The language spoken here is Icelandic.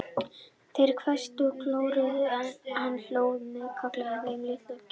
Þeir hvæstu og klóruðu, en hann hló að þeim og kallaði þá litla kjána.